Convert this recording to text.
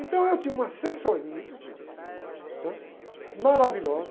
Então, eu tinha uma assessoria, né? maravilhosa.